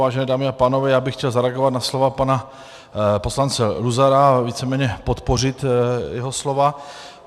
Vážené dámy a pánové, já bych chtěl zareagovat na slova pana poslance Luzara a víceméně podpořit jeho slova.